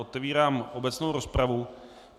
Otevírám obecnou rozpravu.